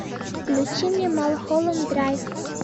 включи мне малхолланд драйв